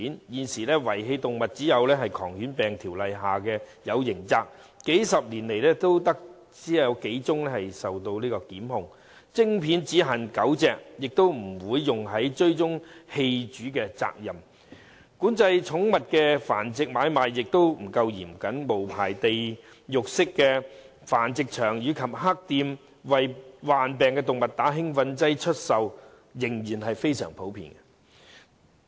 現時遺棄動物只有在《狂犬病條例》下訂有刑責，但數十年來只有數宗檢控個案；植入晶片只限狗隻，亦不會用作追蹤棄主的責任；管制寵物繁殖買賣亦不夠嚴謹，無牌地獄式的繁殖場及"黑店"為患病動物注射興奮劑出售的情況仍然非常普遍。